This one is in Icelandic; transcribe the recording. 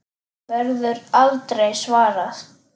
Verður aldrei svarað.